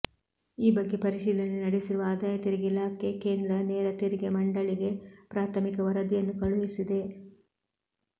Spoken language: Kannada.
ಈ ಬಗ್ಗೆ ಪರಿಶೀಲನೆ ನಡೆಸಿರುವ ಆದಾಯ ತೆರಿಗೆ ಇಲಾಖೆ ಕೇಂದ್ರ ನೇರ ತೆರಿಗೆ ಮಂಡಳಿಗೆ ಪ್ರಾಥಮಿಕ ವರದಿಯನ್ನು ಕಳುಹಿಸಿದೆ